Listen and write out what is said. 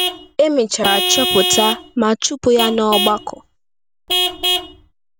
E mechara chọpụta ma chụpụ ya n’ọgbakọ.